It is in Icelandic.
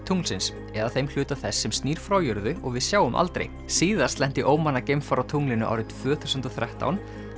tunglsins eða þeim hluta þess sem snýr frá jörðu og við sjáum aldrei síðast lenti geimfar á tunglinu árið tvö þúsund og þrettán